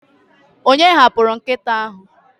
onye hapụrụ nkịta ahụ?